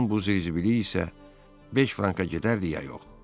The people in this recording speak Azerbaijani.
onun bu zır-zibili isə beş franka gedərdi, ya yox.